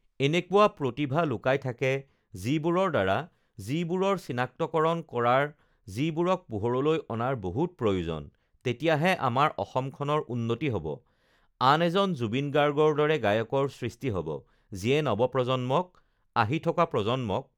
এনেকুৱা প্ৰতিভা লুকাই থাকে যিবোৰৰ দ্ৱাৰা যিবোৰৰ চিনাক্তকৰণ কৰাৰ যিবোৰক পোহৰলৈ অনাৰ বহুত প্ৰয়োজন তেতিয়াহে আমাৰ অসমখনৰ উন্নতি হ'ব আন এজন জুবিন গাৰ্গৰ দৰে গায়কৰ সৃষ্টি হ'ব, যিয়ে নৱপ্ৰজন্মক আহি থকা প্ৰজন্মক